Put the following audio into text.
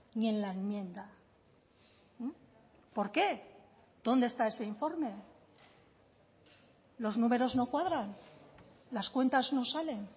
ni en la enmienda por qué dónde está ese informe los números no cuadran las cuentas no salen